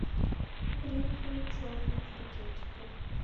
гринфилд черный в пакетиках